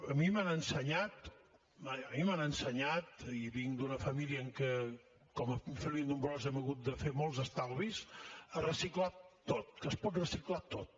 a mi m’han ensenyat a mi m’han ensenyat i vinc d’una família en què com a família nombrosa hem hagut de fer molts estalvis a reciclar ho tot que es pot reciclar tot